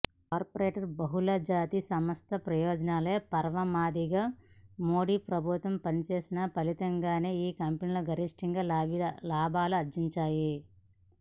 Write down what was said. corporate బహుళజాతి సంస్థల ప్రయోజనాలే పరమావధిగా మోడీ ప్రభుత్వం పనిచేసిన ఫలితంగానే ఈ కంపెనీలు గరిష్ట లాభాలు ఆర్జించాయి